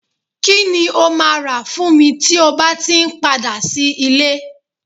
kí ni o ma rà fún mi tí o bá ti n padà sí ile